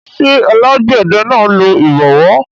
ṣé alágbẹ̀dẹ náà lo ìbọwọ́